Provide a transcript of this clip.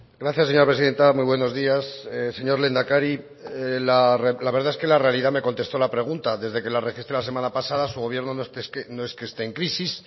gracias señora presidenta muy buenos días señor lehendakari la verdad es que la realidad me contestó la pregunta desde que la registré la semana pasada su gobierno no es que esté en crisis